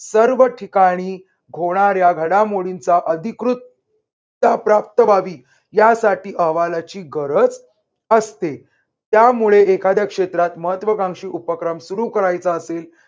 सर्व ठिकाणी होणाऱ्या घडामोडींचा अधिकृत अह प्राप्त व्हावी यासाठी अहवालाची गरज असते. त्यामुळे एखाद्या क्षेत्रात महत्वकांशी उपक्रम सुरू करायचा असेल